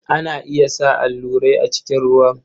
Ana iya sa allurai a cikin ruwan.